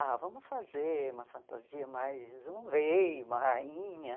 Ah, vamos fazer uma fantasia mais um rei, uma rainha.